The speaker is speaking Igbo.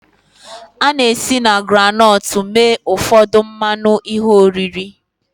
A na-esi na groundnut mee ụfọdụ mmanụ ihe oriri